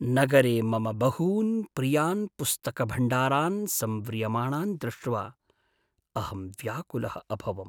नगरे मम बहून् प्रियान् पुस्तकभण्डारान् संव्रियमाणान् दृष्ट्वा अहं व्याकुलः अभवम्।